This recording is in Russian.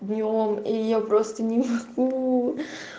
днём и я просто не могу